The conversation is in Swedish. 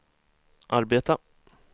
arbeta